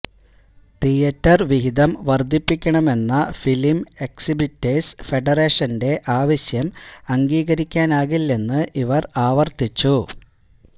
theatre വിഹിതം വര്ധിപ്പിക്കണമെന്ന film exhibitors ഫെഡറേഷന്റെ ആവശ്യം അംഗീകരിക്കാനാകില്ലെന്ന് ഇവര് ആവര്ത്തിച്ചു